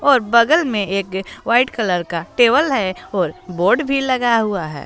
और बगल में एक वाइट कलर का टेबल है और बोर्ड भी लगा हुआ है।